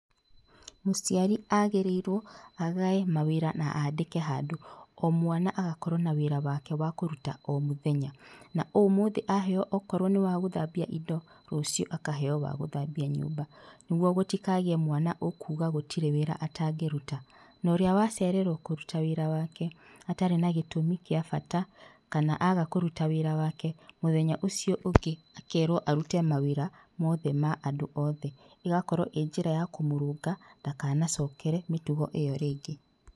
Mũciari agĩrĩirwo agae mawĩra na andĩke handũ, o mwana agakorwo na wĩra wake wa kũruta o mũthenya. Na ũmũthĩ aheo akorwo nĩ wa gũthambia indo, rũciũ akaheo wa gũthambia nyũmba nĩguo gũtikagĩe mwana ũkuga gũtirĩ wĩra atangĩruta, na ũrĩa wacererwo kũruta wĩra wake atarĩ na gĩtũmi kĩa bata kana aga kũruta wĩra wake, mũthenya ũcio ũngĩ, akerwo arute mawĩra mothe ma andũ othe. Igakorwo ĩ njĩra ya kũmũrũnga ndakanacokere mĩtugo ĩyo rĩngĩ.